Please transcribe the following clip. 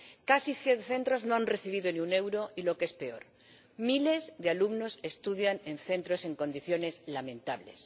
Casi cien centros no han recibido ni un euro y, lo que es peor, miles de alumnos estudian en centros en condiciones lamentables.